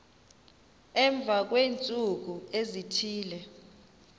emva kweentsuku ezithile